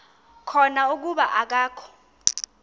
khona kuba akakho